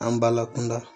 An balakunda